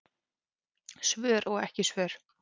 Svör og svör ekki.